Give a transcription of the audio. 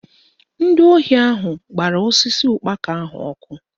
Ndị ohi ahụ gbara osisi ụkpaka ahụ ọkụ